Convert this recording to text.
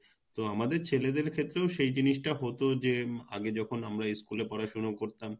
তো আমাদের ছহেলেদের ক্ষেত্রেও সে জিনিস টা হত যে উম আগে যখন আমরা School এ পড়াশুনা করতাম